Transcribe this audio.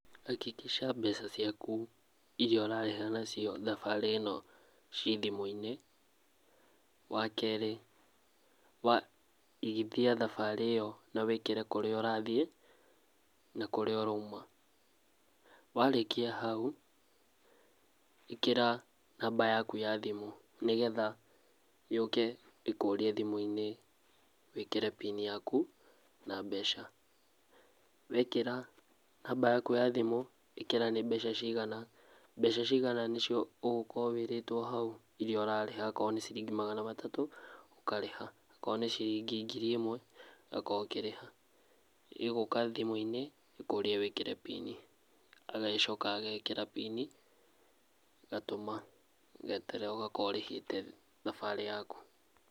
Hakikisha mbeca ciaku iria ũrarĩha nacio thabarĩ ĩno ciĩ thimũ-inĩ. Wakerĩ igithia thabarĩ ĩyo na wĩkĩre kũrĩa ũrathiĩ na kũrĩa ũrauma warĩkia hau ĩkĩra namba yaku ya thimũ nĩgetha yũke ĩkũrie thimũinĩ wĩkĩre pini yaku na mbeca wekĩra namba yaku ya thimũ ĩkĩra nĩ mbeca cigana mbeca cigana nĩcio ũgũkorwo wĩrĩtwo hau iria ũrarĩha akorwo nĩ ciringi magana matatũ ũkarĩha akorwo nĩ ciringi ngiri imwe ĩmwe ũgakorwo ũkĩrĩha ĩgũka thimũ-inĩ ĩkũrie wĩkĩre pin i agacoka agekĩra pin i agatũma ũgeterera ũgakorwo ũrĩhĩte thabarĩ yaku